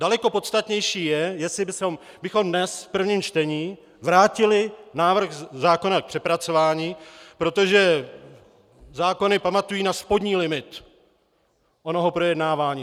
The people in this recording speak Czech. Daleko podstatnější je, jestli bychom dnes v prvním čtení vrátili návrh zákona k přepracování, protože zákony pamatují na spodní limit onoho projednávání.